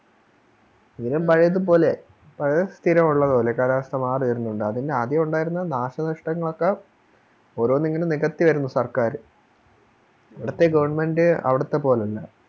പോലെ സ്ഥിരമുള്ള പോലെ കാലാവസ്ഥ മാറിവരുന്നുണ്ട് അതിന് ആദ്യേ ഉണ്ടായിരുന്ന നാശനഷ്ടങ്ങളൊക്കെ ഓരോന്നിങ്ങനെ നികത്തി വരുന്നു സർക്കാര് ഇവിടുത്തെ Government അവിടുത്തെ പോലെയല്ല